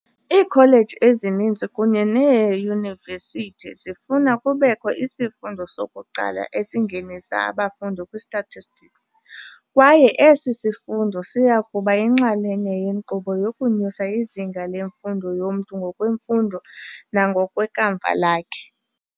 Iikholeji ezininzi kunye neeYunivesithi zifuna kubekho isifundo sokuqala esingenisa abafundi kwi-statistics, kwaye esi sifundo siyakuba yinxalenye yenkqubo yokunyusa izinga lemfundo yomntu ngokwemfundo nangokwekamva lakhe.